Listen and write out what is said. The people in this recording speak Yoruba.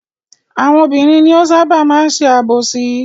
Àwọn obìnrin ni ó ṣábà máa ń ṣe àbòsí.